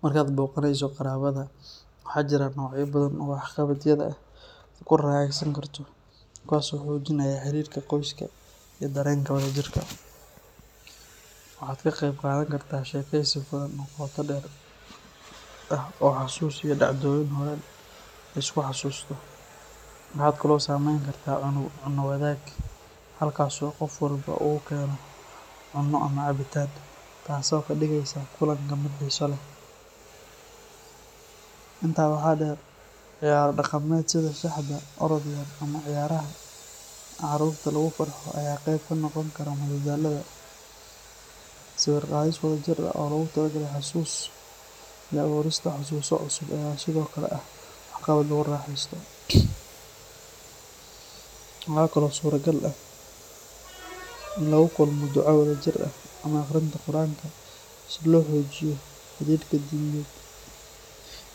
Marka aad booqanayso qaraabada, waxaa jira noocyo badan oo waxqabadyada ah oo aad ku raaxaysan karto, kuwaas oo xoojinaya xiriirka qoyska iyo dareenka wadajirka. Waxaad ka qayb qaadan kartaa sheekaysi furan oo qoto dheer ah oo xasuus iyo dhacdooyin hore la isku xasuusto. Waxaad kaloo samayn kartaa cunno wadaag, halkaas oo qof walba uu keeno cunno ama cabitaan, taas oo ka dhigaysa kulanka mid xiiso leh. Intaa waxaa dheer, ciyaaro dhaqameed sida shaxda, orod yar ama ciyaaraha carruurta lagu farxo ayaa qayb ka noqon kara madadaalada. Sawir qaadis wada jir ah oo loogu talagalay xasuus iyo abuurista xusuuso cusub ayaa sidoo kale ah waxqabad lagu raaxeysto. Waxa kale oo suuragal ah in lagu kulmo duco wadajir ah ama aqrinta Qur’aanka si loo xoojiyo xidhiidhka diimeed